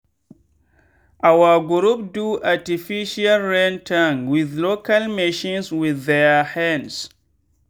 our group do artificial rain tank with local machines with their hands.